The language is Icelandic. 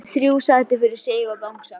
Hefur þrjú sæti fyrir sig og bangsa.